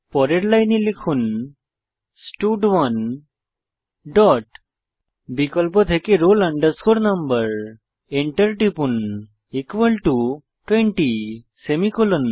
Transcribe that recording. পরের লাইনে লিখুন স্টাড1 ডট বিকল্প থেকে roll no এন্টার টিপুন 20 সেমিকোলন